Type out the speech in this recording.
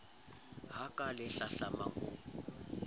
ha ka le hlahlamang o